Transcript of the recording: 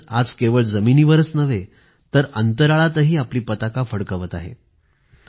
भारत आज केवळ जमिनीवरच नव्हे तर अंतराळातही आपली पताका फडकवत आहे